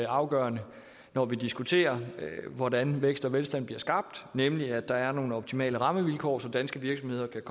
afgørende når vi diskuterer hvordan vækst og velstand bliver skabt nemlig at der er nogle optimale rammevilkår så danske virksomheder kan